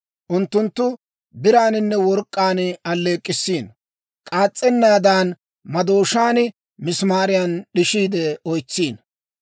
Unttunttu biraaninne work'k'aan alleek'k'issiino; k'aas's'ennaadan madooshaan misimaariyaa d'ishiide oytsiino.